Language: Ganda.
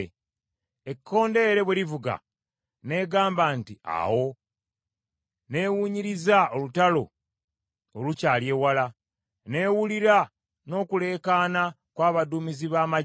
Ekkondeere bwe livuga n’egamba nti, ‘Awo!’ N’ewunyiriza olutalo olukyali ewala, n’ewulira n’okuleekaana kwa baduumizi b’amaggye.